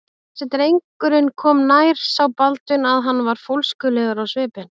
Þegar drengurinn kom nær sá Baldvin að hann var fólskulegur á svipinn.